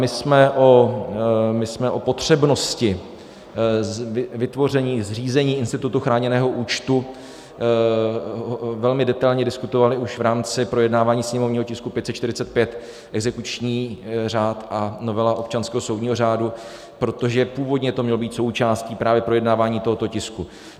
My jsme o potřebnosti vytvoření, zřízení institutu chráněného účtu velmi detailně diskutovali už v rámci projednávání sněmovního tisku 545, exekuční řád a novela občanského soudního řádu, protože původně to mělo být součástí právě projednávání tohoto tisku.